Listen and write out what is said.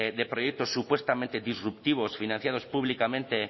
de proyectos supuestamente disruptivos financiados públicamente